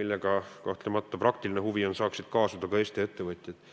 millega saaksid, nagu praktiline huvi on, kaasuda ka Eesti ettevõtjad.